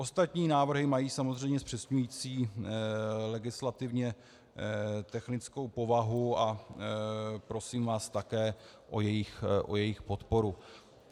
Ostatní návrhy mají samozřejmě zpřesňující legislativně technickou povahu a prosím vás také o jejich podporu.